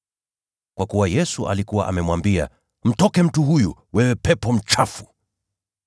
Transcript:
Kwa kuwa Yesu alikuwa amemwambia, “Mtoke mtu huyu, wewe pepo mchafu!”